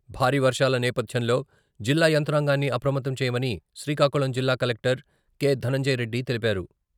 భారీ వర్షాల నేపథ్యంలో జిల్లా యంత్రాంగాన్ని అప్రమత్తం చేయమని శ్రీకాకుళం జిల్లా కలెక్టర్ కె.ధనంజయరెడ్డి తెలిపారు.